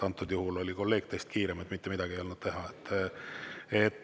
Antud juhul oli kolleeg teist kiirem, mitte midagi ei olnud teha.